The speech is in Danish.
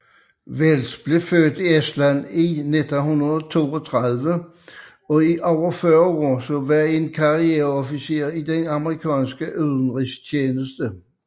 Wells blev født i Estland i 1932 og i over 40 år var en karriere officer i den amerikanske udenrigstjeneste